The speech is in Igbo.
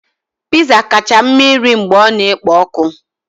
Pizza kacha mma irì mgbe ọ na-ekpo ọkụ.